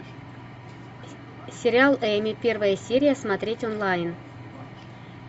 сериал эми первая серия смотреть онлайн